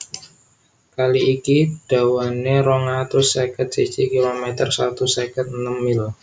Kali iki dawané rong atus seket siji kilometer satus seket enem mil